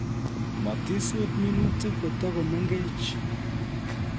Matisut minutik kotakomengech